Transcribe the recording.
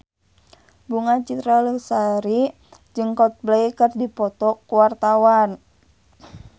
Bunga Citra Lestari jeung Coldplay keur dipoto ku wartawan